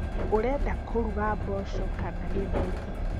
Urenda kũruga mboco kana gĩtheri?